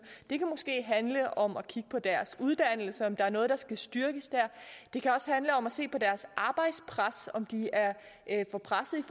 det kan måske handle om at kigge på deres uddannelse om der er noget der skal styrkes der det kan også handle om at se på deres arbejdspres om de er for pressede